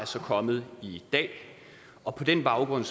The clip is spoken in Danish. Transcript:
så kommet i dag og på den baggrund